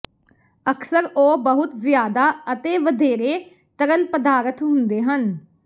ਅਕਸਰ ਉਹ ਬਹੁਤ ਜ਼ਿਆਦਾ ਅਤੇ ਵਧੇਰੇ ਤਰਲ ਪਦਾਰਥ ਹੁੰਦੇ ਹਨ